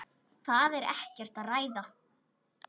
Það er ekkert að ræða.